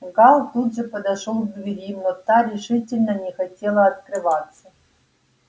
гаал тут же подошёл к двери но та решительно не хотела открываться